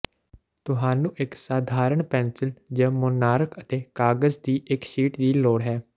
ਤੁਹਾਨੂੰ ਇੱਕ ਸਧਾਰਨ ਪੈਨਸਿਲ ਜ ਮੋਨਾਰਕ ਅਤੇ ਕਾਗਜ਼ ਦੀ ਇੱਕ ਸ਼ੀਟ ਦੀ ਲੋੜ ਹੈ